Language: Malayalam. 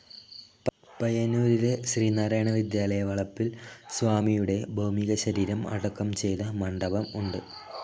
പയ്യന്നൂരിലെ ശ്രീനാരായണ വിദ്യാലയ വളപ്പിൽ സ്വാമിയുടെ ഭൗമീക ശരീരം അടക്കം ചെയ്ത മണ്ഡപം ഉണ്ട്.